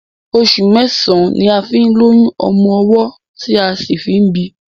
Oṣù mẹ́ẹ̀sán ní a fi ń lóyún ọmọ ọwọ́ tí a sì fi ń bíi.